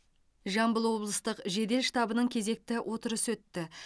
жамбыл облыстық жедел штабының кезекті отырысы өтті